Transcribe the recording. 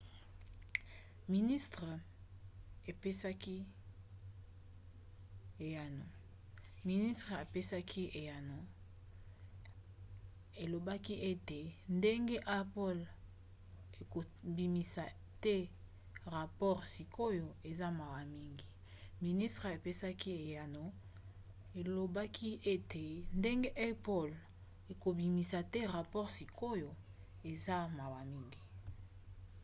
ministere epesaki eyano elobaki ete ndenge apple ekobimisa te rapport sikoyo eza mawa mingi.